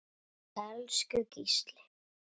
Elsku Gísli.